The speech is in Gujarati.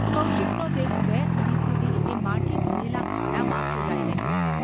’​ કૌશિકનો દેહ બે ઘડી સુધી એ માટી ભરેલા ખાડામાં પુરાઈ રહ્યો.